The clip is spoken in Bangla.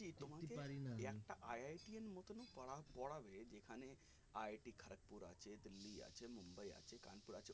তোমাকে এই একটা IIT এর মতোনও পড়া পোড়াবে যেখানে IIT খড়্গপুর আছে দিল্লি আছে মুম্বাই আছে কানপুর আছে